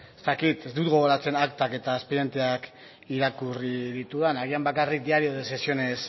ez dakit ez dut gogoratzen aktak eta espedienteak irakurri ditudan agian bakarrik diario de sesiones